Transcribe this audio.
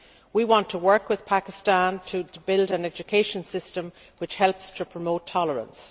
We want to work with Pakistan to build an education system which helps to promote tolerance.